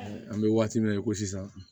An bɛ waati min na i ko sisan